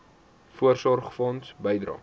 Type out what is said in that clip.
voorsorgfonds bydrae